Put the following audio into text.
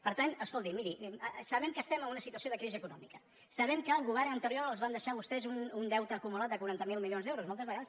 per tant escolti miri sabem que estem en una situa·ció de crisi econòmica sabem que el govern anterior els va deixar a vostès un deute acumulat de quaranta miler milions d’euros moltes vegades